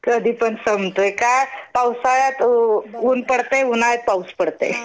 कधीपण संपतोय का पावसाळ्यात ऊन पडतंय उन्हाळ्यात पाऊस पडतंय.